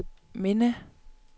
minde